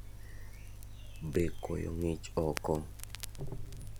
Be koyo ng'ich oko?